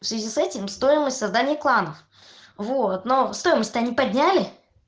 в связи с этим стоимость создания кланов вот но стоимость-то они подняли